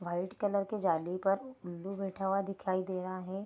White colour की जाली पर उल्लू बैठा हुआ दिखाई दे रहा है।